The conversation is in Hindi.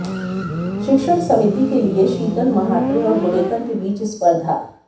शिक्षण समिति के लिए शीतल म्हात्रे और गुडेकर के बीच स्पर्धा